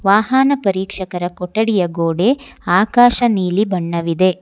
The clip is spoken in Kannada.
ವಾಹನ ಪರೀಕ್ಷಕರ ಕೊಠಡಿಯ ಗೋಡೆ ಆಕಾಶ ನೀಲಿ ಬಣ್ಣವಿದೆ.